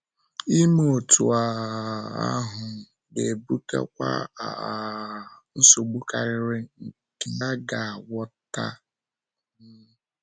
Ime otú um ahụ, ga-ebutakwa um nsogbu karịrị nke aga - agwọta. um